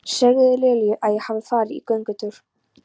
Segðu Lilju að ég hafi farið í göngutúr.